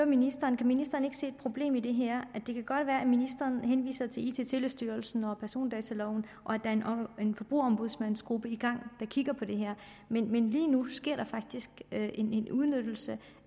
ministeren kan ministeren ikke se et problem i det her det kan godt være at ministeren henviser til it og telestyrelsen og persondataloven og at der er en forbrugerombudsmandsgruppe i gang der kigger på det her men lige nu sker der faktisk en en udnyttelse